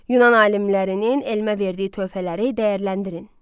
Yunan alimlərinin elmə verdiyi töhfələri dəyərləndirin.